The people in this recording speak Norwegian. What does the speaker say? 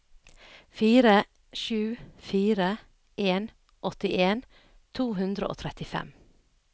fire sju fire en åttien to hundre og trettifem